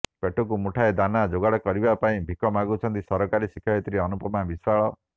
ପେଟକୁ ମୁଠାଏ ଦାନା ଯୋଗାଡ଼ କରିବା ପାଇଁ ଭିକ ମାଗୁଛନ୍ତି ସରକାରୀ ଶିକ୍ଷୟତ୍ରୀ ଅନୁପମା ବିଶ୍ୱାଳ